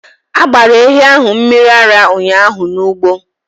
A gbara ehi ahụ mmiri ara ụnyahụ n’ugbo